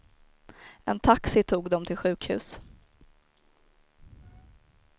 En taxi tog dem till sjukhus.